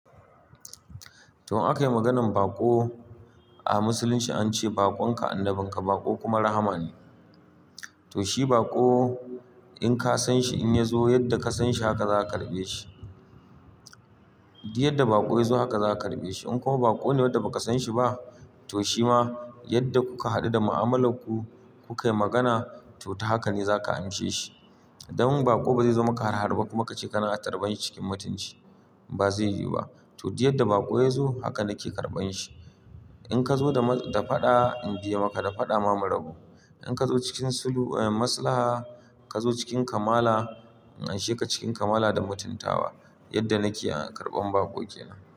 To, in aka yi maganan baƙo a Musulunci an ce, "Baƙon ka, annabin ka", baƙo kuma rahama ne. To shi baƙo in ka san shi in ya zo yadda ka san shi haka za ka karɓe shi. Duk yadda baƙo ya zo haka za ka karɓe shi. In kuma baƙo ne wanda ba ka san shi ba, to shi ma yadda kuka haɗu da mu'amalar ku, ku kayi magana to haka ne za ka anse shi. To, in aka yi maganan baƙo a Musulunci an ce, "Baƙon ka, annabin ka", baƙo kuma rahama ne. To duk yadda baƙo yazo, haka nake karɓan shi. In ka zo da faɗa, in biye maka da faɗa ma mu rabu. In ka zo cikin sulhu in Maslaha, ka zo cikin kamala in amshe ka cikin kamala da mutuntawa. Yadda na ke karɓan baƙo kenan.